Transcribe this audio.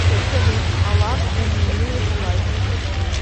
салют алан энилеев лайф